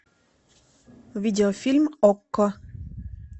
видеофильм окко